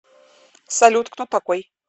салют кто такой